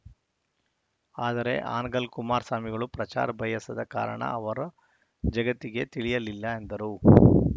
ಆದರೆ ಹಾನಗಲ್‌ ಕುಮಾರಸ್ವಾಮಿಗಳು ಪ್ರಚಾರ ಬಯಸದ ಕಾರಣ ಅವರ ಜಗತ್ತಿಗೆ ತಿಳಿಯಲಿಲ್ಲ ಎಂದರು